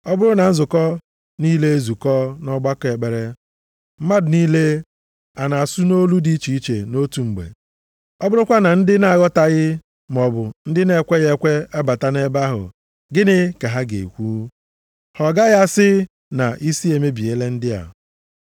Ọ bụrụ na nzukọ niile ezukọọ nʼọgbakọ ekpere, mmadụ niile a na-asụ nʼolu dị iche iche nʼotu mgbe, ọ bụrụkwa na ndị na-aghọtaghị, maọbụ ndị na-ekweghị ekwe abata nʼebe ahụ, gịnị ka ha ga-ekwu? Ha ọ gaghị asị na isi emebiela ndị a?